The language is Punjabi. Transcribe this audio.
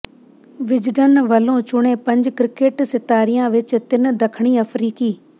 ਵਿਜ਼ਡਨ ਵੱਲੋਂ ਚੁਣੇ ਪੰਜ ਕ੍ਰਿਕਟ ਸਿਤਾਰਿਆਂ ਵਿੱਚ ਤਿੰਨ ਦੱਖਣੀ ਅਫਰੀਕੀ